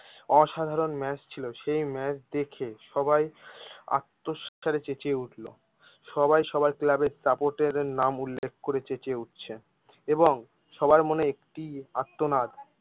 অসাধারন ম্যাচ ছিল সেই ম্যাচ দেখে সবাই চেঁচিয়ে উঠলো সবাই সবাই ক্লাবের সাপোর্টের নাম উল্লেখ করে চেঁচিয়ে উঠছে এবং সবার মনে একটি আর্তনাদ